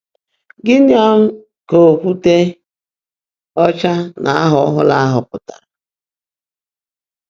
Gịnị um ka “okwute ọcha” na “aha ọhụrụ ahụ” pụtara?